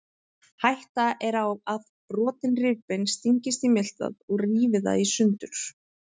Hætta er á að brotin rifbein stingist í miltað og rífi það í sundur.